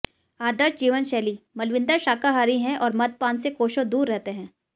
आदर्श जीवनशैलीः मलविंदर शाकाहारी हैं और मद्यपान से कोसों दूर रहते हैं